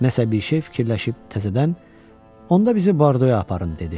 Nəsə bir şey fikirləşib təzədən, onda bizi Bordoya aparın dedi.